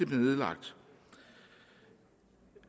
bliver nedlagt